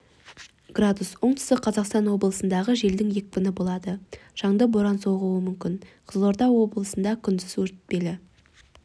градус оңтүстік қазақстан облысындағы желдің екпіні болады шаңды боран соғуы мүмкін қызылорда облысында күндіз өтпелі